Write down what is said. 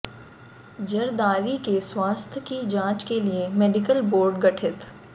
जरदारी के स्वास्थ्य की जांच के लिए मेडिकल बोर्ड गठित